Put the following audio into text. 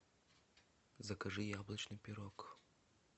закажи яблочный пирог